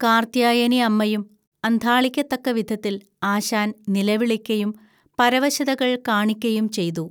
കാർത്ത്യായനിഅമ്മയും അന്ധാളിക്കത്തക്കവിധത്തിൽ ആശാൻ നിലവിളിക്കയും, പരവശതകൾ കാണിക്കയും ചെയ്തു